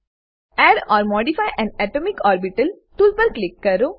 add or modify an atomic orbital tool પર click કરો